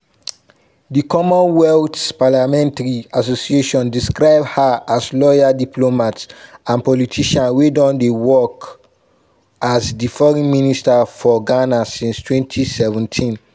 di commonwealth parliamentary association describe her as lawyer diplomat and politician wey don dey work as di foreign minister for ghana since 2017.